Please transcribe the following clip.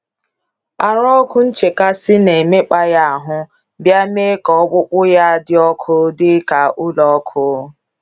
Arụ ọkụ nchekasị na - emekpa ya ahụ, bịa mee ka ọkpụkpụ ya dị ọkụ dị ka ụlọ ọkụ.